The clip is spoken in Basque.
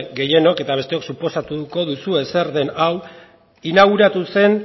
gehienok eta besteok suposatuko duzue zer den hau inauguratu zen